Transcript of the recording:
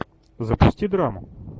запусти драму